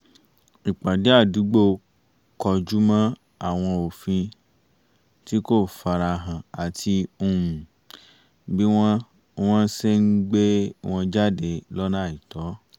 ìpàdé àdúgbò kọjú mọ́ àwọn òfin tí kò farahàn àti um bí wọ́n wọ́n ṣe ń gbé wọn jáde lọ́nà àìtọ́